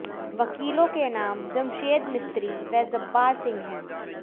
वकीलों के नाम जमशेद मिस्त्री व जब्बार सिंह हैं